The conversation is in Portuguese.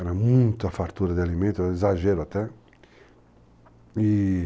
Era muita fartura de alimento, era exagero até. i-i